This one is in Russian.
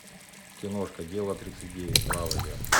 киношка дело тридцать девять заводи